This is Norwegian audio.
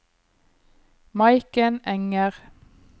Maiken Enger